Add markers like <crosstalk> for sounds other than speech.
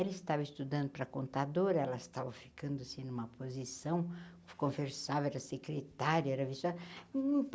Ela estava estudando para contadora, ela estava ficando assim numa posição, conversava, que a secretária, era. <unintelligible>